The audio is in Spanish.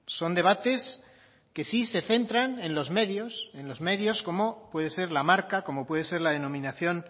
son debates que sí se centran en los medios en los medios como puede ser la marca como puede ser la denominación